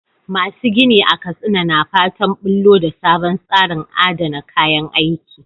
Masu gini a Katsina na fatan bullo da sabon tsarin adana kayan aiki.